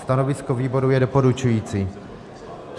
Stanovisko výboru je doporučující.